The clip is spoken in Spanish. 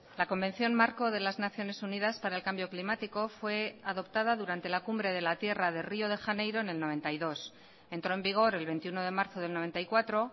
la convención marco de las naciones unidas para el cambio climático fue adoptada durante la cumbre de la tierra de río de janeiro en el noventa y dos entró en vigor el veintiuno de marzo del noventa y cuatro